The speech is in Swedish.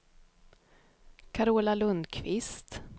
Carola Lundkvist